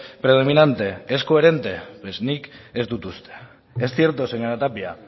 predominante es coherente nik ez dut uste es cierto señora tapia